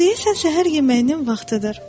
Deyəsən səhər yeməyinin vaxtıdır.